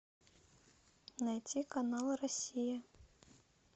найти канал россия